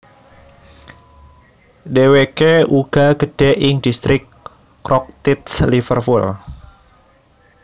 Dhèwèkè uga gedè ing distrik Croxteth Liverpool